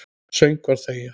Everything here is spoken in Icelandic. Söngvar þegja.